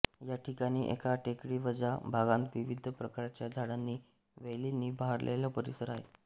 या ठिकाणी एका टेकडीवजा भागांत विविध प्रकारच्या झाडांनी वेलींनी बहरलेला परिसर आहे